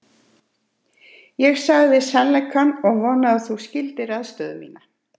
Ég sagði þér sannleikann og vona að þú skiljir aðstöðu mína.